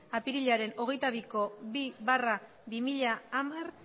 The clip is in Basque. apirilaren hogeita biko bi barra bi mila hamar